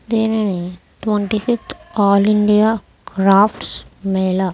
దేనిని twenty fifth all India crafts Mela --